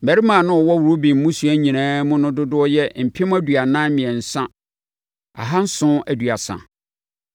Mmarima a na wɔwɔ Ruben mmusua nyinaa mu no dodoɔ yɛ mpem aduanan mmiɛnsa ahanson aduasa (43,730).